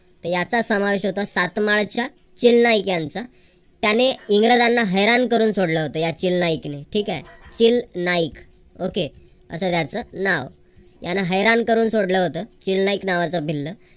याचा समावेश होतो सातमाळ्याच्या खिल्लाहिक यांचा त्याने इंग्रजांना हैराण करून सोडलं होतं या खिल्लाहिक ने ठीक आहे खिल नाईक okay असं त्याचं नाव त्यांन हैराण करून सोडलं होतं. खिल नाईक नावाचा भिल्ल